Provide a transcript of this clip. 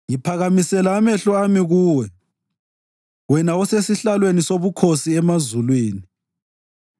Ngiphakamisela amehlo ami kuwe, wena osesihlalweni sobukhosi emazulwini!